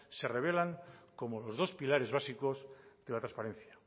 se revela como los dos pilares básicos de la transparencia